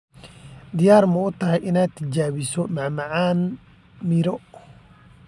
Diyaar ma u tahay inaad tijaabiso macmacaan miro?